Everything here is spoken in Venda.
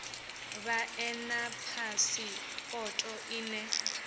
vha ḓe na phasipoto ine